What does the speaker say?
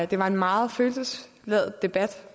det var en meget følelsesladet debat